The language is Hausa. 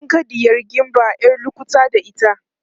kin ga ɗiyar gimba ƴar lukuta da ita